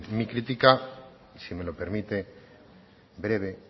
mi crítica si me lo permite breve